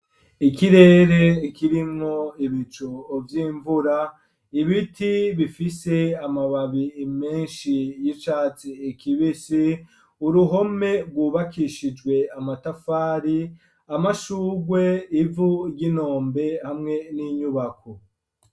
Ikirere ikirinko ibico uvy' imvura ibiti bifise amababi imenshi y'icatse ekibisi uruhome rwubakishijwe amatafari amashugwe ivu ry'inombe hamwe n'inyubako.